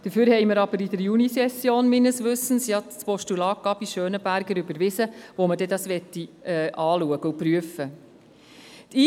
Dafür haben wir aber in der Junisession meines Wissens das Postulat Gabi Schönenberger überwiesen, wo man das dann anschauen und überprüfen möchte.